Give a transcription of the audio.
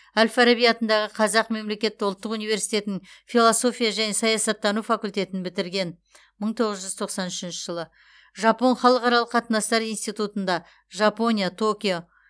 әл фараби атындағы қазақ мемлекеттік ұлттық университетінің философия және саясаттану факультетін бітірген мың тоғыз жүз тоқсан үшінші жылы жапон халықаралық қатынастар институтында жапония токио